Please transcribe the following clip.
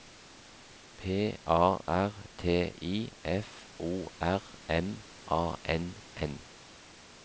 P A R T I F O R M A N N